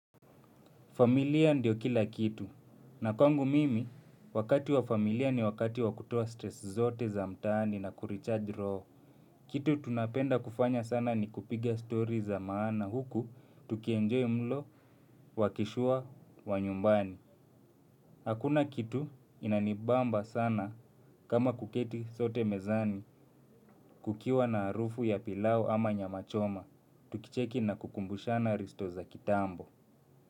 Familia ndio kila kitu. Na kwangu mimi, wakati wa familia ni wakati wa kutoa stresi zote za mtaani na kurichaji roho. Kitu tunapenda kufanya sana ni kupiga story za maana huku, tukienjoy mlo, wakishua, wa nyumbani. Hakuna kitu inanibamba sana kama kuketi sote mezani kukiwa na harufu ya pilau ama nyama choma. Tukicheki na kukumbushana risto za kitambo.